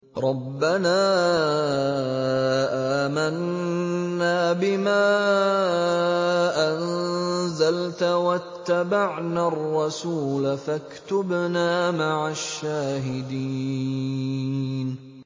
رَبَّنَا آمَنَّا بِمَا أَنزَلْتَ وَاتَّبَعْنَا الرَّسُولَ فَاكْتُبْنَا مَعَ الشَّاهِدِينَ